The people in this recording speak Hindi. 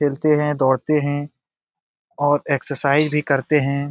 खेलते हैं दौड़ते हैं और एक्सरसाइज भी करते हैं।